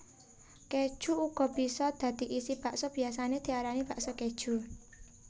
Kéju uga bisa dadi isi bakso biyasané diarani bakso kéju